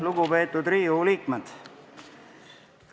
Lugupeetud Riigikogu liikmed!